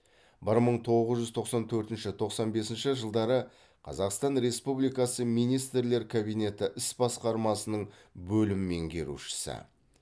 бір мың тоғыз жүз тоқсан төртінші тоқсан бесінші жылдары қазақстан республикасы министрлер кабинеті іс басқармасының бөлім меңгерушісі